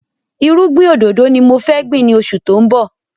Irúgbìn òdòdó ni mo fẹ́ gbìn ni oṣù tó ń bọ̀